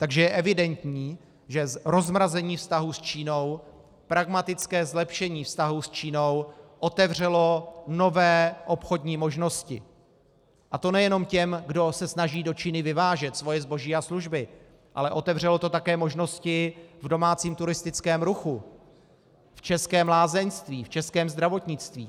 Takže je evidentní, že rozmrazení vztahů s Čínou, pragmatické zlepšení vztahů s Čínou otevřelo nové obchodní možnosti, a to nejenom těm, kdo se snaží do Číny vyvážet svoje zboží a služby, ale otevřelo to také možnosti v domácím turistickém ruchu, v českém lázeňství, v českém zdravotnictví.